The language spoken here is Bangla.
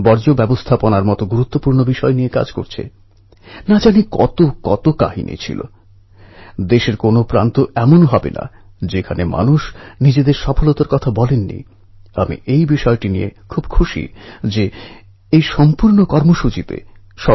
স্বাভাবিক ভাবেই ব্রিটিশ শাসক এই বিষয়ে অত্যন্ত অসন্তুষ্ট হয় এবং সেখানকার কালেক্টর বার বার স্মারু হেলা নামক স্মারক নির্মাণের প্রস্তাব